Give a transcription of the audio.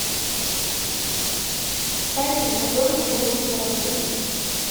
сайты на которых можно заработать